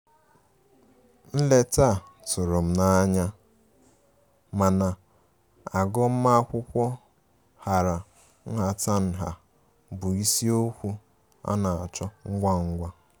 Nleta a tụrụ m n'anya, mana agụma akwụkwo hara nhatanha bụ ịsiokwu ana achọ ngwa ngwa.